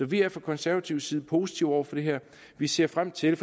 vi er fra konservativ side positive over for det her vi ser frem til